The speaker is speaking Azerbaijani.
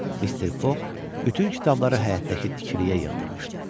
Mr Foq bütün kitabları həyətdəki tikiliyə yığdırmışdı.